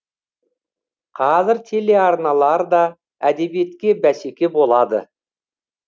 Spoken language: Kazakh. қазір телеарналар да әдебиетке бәсеке болады